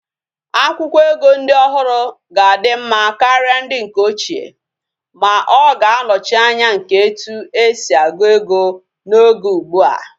Akwukwo ego ndi ohuru ga adi mma karia ndi nke ochie, ma oga anochi Anya nke etu esi agu ego na Oge ugbua